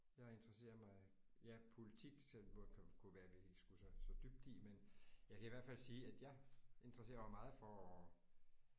Jeg interesserer mig jeg politik kunne være vi ikke skulle så så dybt i men jeg kan i hvert fald sige at jeg interesserer mig meget for